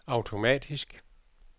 automatisk